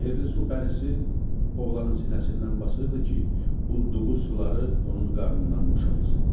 Sehirli su pərisi oğlanın sinəsindən basırdı ki, udduğu suları onun qarnından boşaltsın.